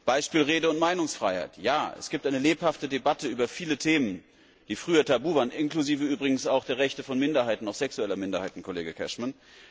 Beispiel Rede und Meinungsfreiheit Ja, es gibt eine lebhafte Debatte über viele Themen, die früher tabu waren, inklusive übrigens auch der Rechte von Minderheiten, auch sexueller Minderheiten, Kollege Cashman.